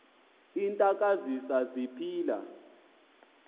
iintaka zise ziphila